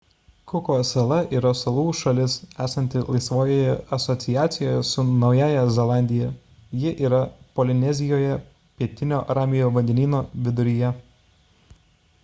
kuko salos yra salų šalis esanti laisvojoje asociacijoje su naująja zelandija ji yra polinezijoje pietinio ramiojo vandenyno viduryje